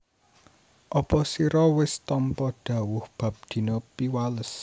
Apa sira wis tampa dhawuh bab dina Piwales